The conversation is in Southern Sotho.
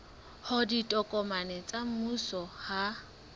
hore ditokomane tsa mmuso ha